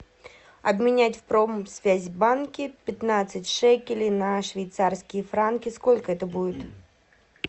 обменять в промсвязьбанке пятнадцать шекелей на швейцарские франки сколько это будет